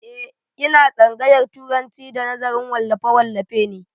Eh, ina tsangayar turanci da nazarin wallafe wallafe ne